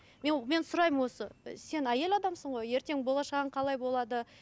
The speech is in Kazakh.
мен мен сұраймын осы ы сен әйел адамсың ғой ертең болашағың қалай болады